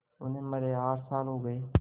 उन्हें मरे आठ साल हो गए